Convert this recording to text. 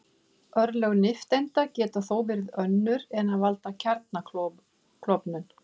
Örlög nifteindanna geta þó verið önnur en að valda kjarnaklofnun.